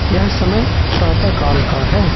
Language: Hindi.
यह समय प्रातः काल का है।